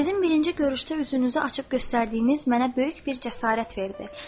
Sizin birinci görüşdə üzünüzü açıb göstərdiyiniz mənə böyük bir cəsarət verdi.